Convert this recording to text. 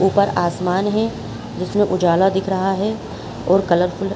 ऊपर आसमान है जिसमे उजाला दिख रहा है और कलरफुल --